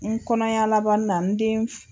N kɔnɔya laban na n den.